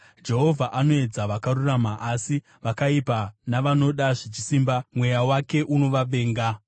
Jehovha anoedza vakarurama, asi vakaipa navanoda zvechisimba mweya wake unovavenga.